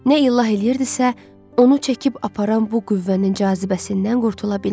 Nə illah eləyirdisə, onu çəkib aparan bu qüvvənin cazibəsindən qurtula bilmirdi.